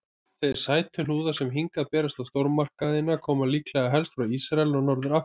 Þeir sætuhnúðar sem hingað berast í stórmarkaðina koma líklega helst frá Ísrael og Norður-Afríku.